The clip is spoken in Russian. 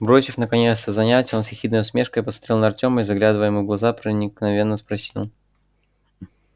бросив наконец это занятие он с ехидной усмешкой посмотрел на артёма и заглядывая ему в глаза проникновенно спросил